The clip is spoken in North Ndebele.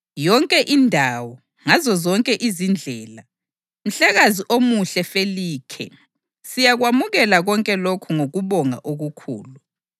Yonke indawo, ngazozonke izindlela, mhlekazi omuhle Felikhe, siyakwamukela konke lokhu ngokubonga okukhulu.